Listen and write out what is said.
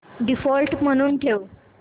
default म्हणून ठेव